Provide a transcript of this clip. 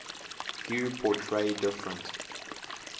hue portray different